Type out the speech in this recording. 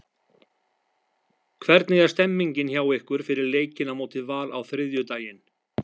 Hvernig er stemmningin hjá ykkur fyrir leikinn á móti Val á þriðjudaginn?